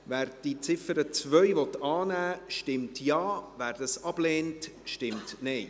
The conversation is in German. Wer die Ziffer 2 annehmen will, stimmt Ja, wer dies ablehnt, stimmt Nein.